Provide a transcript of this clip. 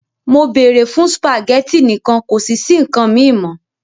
Mo beere fun spaghetti nikan kosi si nkan mi mo!